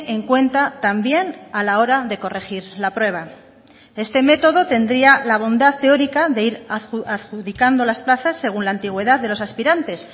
en cuenta también a la hora de corregir la prueba este método tendría la bondad teórica de ir adjudicando las plazas según la antigüedad de los aspirantes